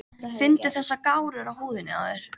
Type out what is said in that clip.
Finndu þessar gárur á húðinni á þér.